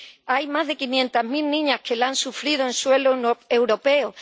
Hay más de quinientas mil niñas que la han sufrido en suelo europeo.